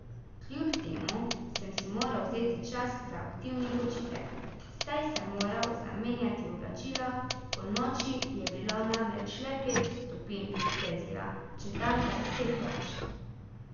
Kljub temu sem si moral vzeti čas za aktivni počitek, saj sem moral zamenjati oblačila, ponoči je bilo namreč le pet stopinj Celzija, čez dan pa deset več.